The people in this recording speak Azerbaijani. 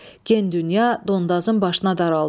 Gen dünya Dondazın başına daraldı.